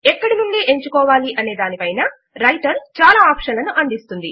ఎక్కడ నుంచి ఎంచుకోవాలి అనే దాని పైన రైటర్ చాలా ఆప్షన్ లను అందిస్తుంది